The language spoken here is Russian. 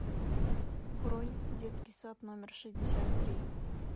бронь детский сад номер шестьдесят три